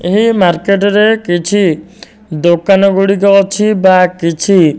ଏହି ମାର୍କେଟରେ କିଛି ଦୋକାନଗୁଡ଼ିକ ଅଛି ବା କିଛି --